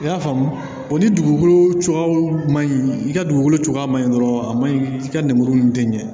I y'a faamu o ni dugukolo cogoyaw man ɲi i ka dugukolo cogoya man ɲi dɔrɔn a ma ɲi i ka lemuru ninnu tɛ ɲɛ